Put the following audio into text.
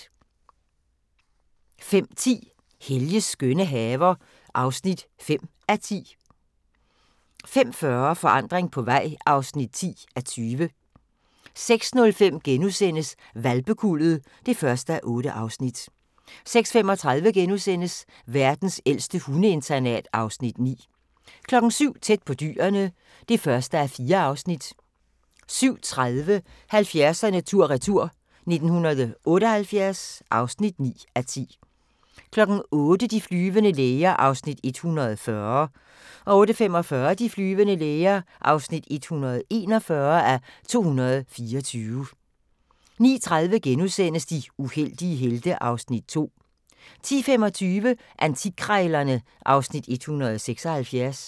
05:10: Helges skønne haver (5:10) 05:40: Forandring på vej (10:20) 06:05: Hvalpekuldet (1:8)* 06:35: Verdens ældste hundeinternat (Afs. 9)* 07:00: Tæt på dyrene (1:4) 07:30: 70'erne tur-retur: 1978 (9:10) 08:00: De flyvende læger (140:224) 08:45: De flyvende læger (141:224) 09:30: De uheldige helte (Afs. 2)* 10:25: Antikkrejlerne (Afs. 176)